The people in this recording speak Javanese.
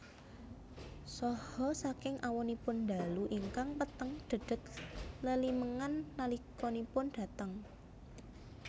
Saha saking awonipun dalu ingkang peteng dhedhet lelimengan nalikanipun dhateng